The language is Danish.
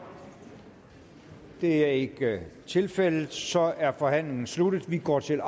det er ikke tilfældet så er forhandlingen sluttet og vi går til